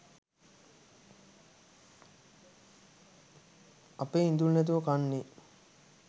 අපේ ඉඳුල් නැතුව කන්නේ